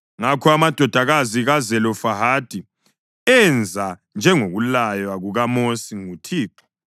Ngakho amadodakazi kaZelofehadi enza njengokulaywa kukaMosi nguThixo.